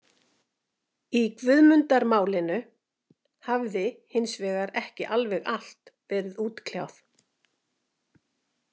Í Guðmundarmálinu hafði hins vegar ekki alveg allt verið útkljáð.